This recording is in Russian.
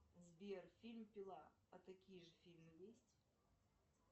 сбер фильм пила а такие же фильмы есть